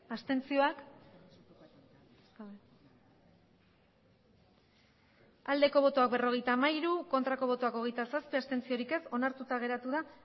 abstentzioa berrogeita sei bai hogeita zazpi ez onartuta geratu da